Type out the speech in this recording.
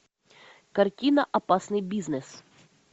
картина опасный бизнес